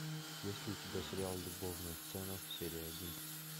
есть ли у тебя сериал любовная сцена серия один